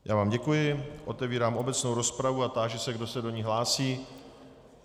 Já vám děkuji, otevírám obecnou rozpravu a táži se, kdo se do ní hlásí.